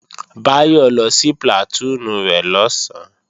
Báyọ̀ lọ sí plàtúùnù rẹ̀ lọ̀sán